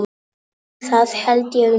Það held ég nú.